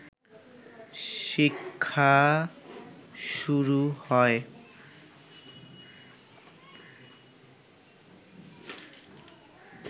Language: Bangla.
শিক্ষা শুরু হয়